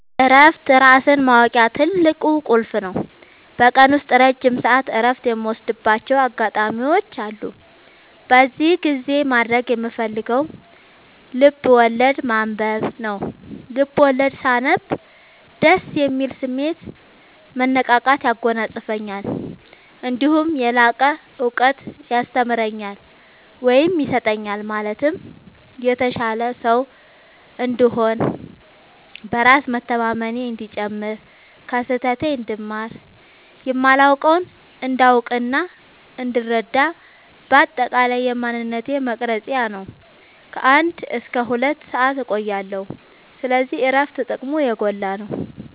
እረፍት ራስን ማወቂያ ትልቁ ቁልፍ ነው። በቀን ውስጥ ረጅም ሰዓት እረፍት የምወስድባቸው አጋጣዎች አሉ። በዚህ ጊዜ ማድረግ የምፈልገው ልብዐወለድ ማንበብ ነው፤ ልቦለድ ሳነብ ደስ የሚል ስሜት፣ መነቃቃት ያጎናፅፈኛል። እነዲሁም የላቀ እውቀት ያስተምረኛል ወይም ይሰጠኛል ማለትም የተሻለ ሰው እንድሆን፣ በራስ መተማመኔ እንዲጨምር፣ ከስህተቴ እንድማር፣ የማላውቀውን እንዳውቅናእንድረዳ በአጠቃላይ የማንነቴ መቅረጽያ ነው። ከ አንድ እስከ ሁለት ሰአት እቆያለሁ። ስለዚህ እረፍት ጥቅሙ የጎላ ነው።